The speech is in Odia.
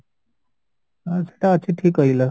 ଆଁ ସେଟା ଅଛି ଠିକ କହିଲ